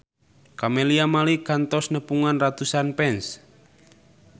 Camelia Malik kantos nepungan ratusan fans